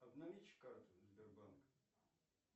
обналичь карту сбербанк